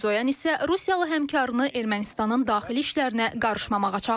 Mirzoyan isə rusiyalı həmkarını Ermənistanın daxili işlərinə qarışmamağa çağırıb.